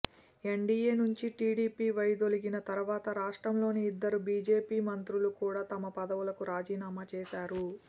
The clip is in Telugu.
ఎన్డీయే నుంచి టీడీపీ వైదొలగిన తర్వాత రాష్ట్రంలోని ఇద్దరు బీజేపీ మంత్రులు కూడా తమ పదవులకు రాజీనామా చేశారు